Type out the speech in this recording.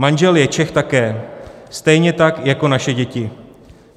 Manžel je Čech také, stejně tak jako naše děti.